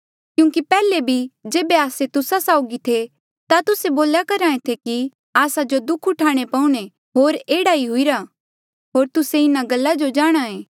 क्यूंकि पैहले भी जेबे आस्से तुस्सा साउगी थे ता तुस्से बोल्या करहा ऐें थे कि आस्सा जो दुःख उठाणे पऊणे होर एह्ड़ा ई हुईरा होर तुस्से इन्हा गल्ला जो जाणहां ऐें